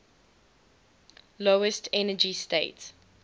lowest energy state